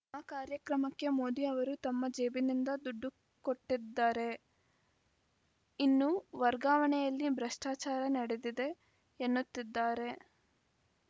ಆ ಕಾರ್ಯಕ್ರಮಕ್ಕೆ ಮೋದಿ ಅವರು ತಮ್ಮ ಜೇಬಿನಿಂದ ದುಡ್ಡು ಕೊಟ್ಟಿದ್ದರೇ ಇನ್ನು ವರ್ಗಾವಣೆಯಲ್ಲಿ ಭ್ರಷ್ಟಾಚಾರ ನಡೆದಿದೆ ಎನ್ನುತ್ತಿದ್ದಾರೆ